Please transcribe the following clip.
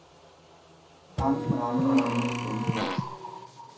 Angsten ramte, når de mindst ventede det.